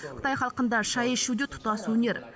қытай халқында шай ішу де тұтас өнер